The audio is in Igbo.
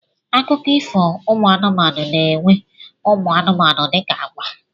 Akụkọ ifo ụmụ anụmanụ na-enwe ụmụ anụmanụ dịka àgwà.